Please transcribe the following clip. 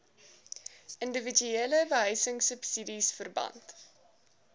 indiwiduele behuisingsubsidies verband